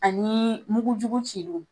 Ani mugujugu ci li.